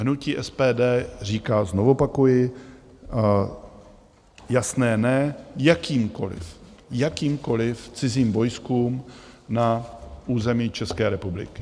Hnutí SPD říká, znovu opakuji, jasné "ne" jakýmkoliv, jakýmkoliv cizím vojskům na území České republiky.